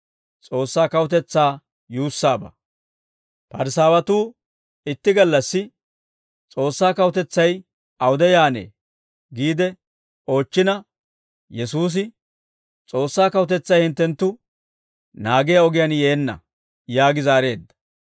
Parisaawatuu itti gallassi, «S'oossaa kawutetsay awude yaannee?» giide oochchina Yesuusi, «S'oossaa kawutetsay hinttenttu naagiyaa ogiyaan yeenna» yaagi zaareedda.